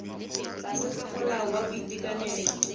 tlase ga molao wa boitekanelo